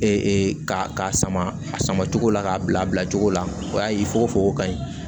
ka sama a sama cogo la k'a bila a bila cogo la o y'a ye fokofoko ka ɲi